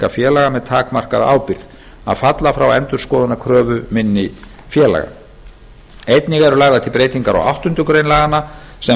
félaga með takmarkaðri ábyrgð að falla frá endurskoðunarkröfu minni félaga einnig eru lagðar til breytingar á áttundu grein laganna sem